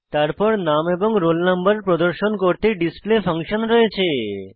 তারপর নাম এবং রোল নম্বর প্রদর্শন করতে ডিসপ্লে ফাংশন রয়েছে